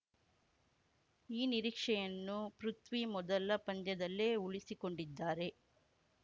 ಈ ನಿರೀಕ್ಷೆಯನ್ನು ಪೃಥ್ವಿ ಮೊದಲ ಪಂದ್ಯದಲ್ಲೇ ಉಳಿಸಿಕೊಂಡಿದ್ದಾರೆ